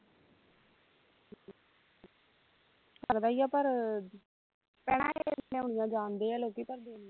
ਲਗਦਾ ਹੀ ਆ ਪਰ ਭੈਣਾਂ ਜਾਣਦੇ ਆ ਲੋਕੀ